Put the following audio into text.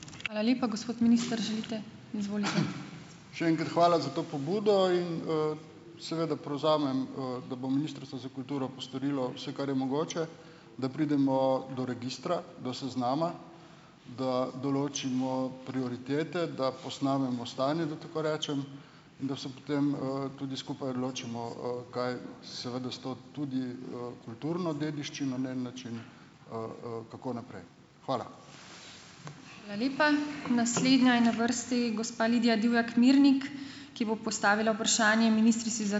Še enkrat hvala za to pobudo in, seveda, prevzamem, da bo ministrstvo za kulturo postorilo vse, kar je mogoče, da pridemo do registra, do seznama, da določimo prioritete, da posnamemo stanje, da tako rečem, in da se potem, tudi skupaj odločimo, kaj seveda s to tudi, kulturno dediščino na en način, kako naprej. Hvala.